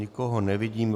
Nikoho nevidím.